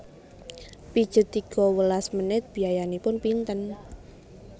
Pijet tiga welas menit biayanipun pinten